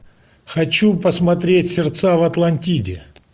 хочу посмотреть сердца в атлантиде